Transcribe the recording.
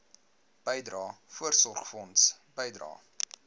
bydrae voorsorgfonds bydrae